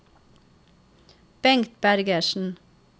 Bengt Bergersen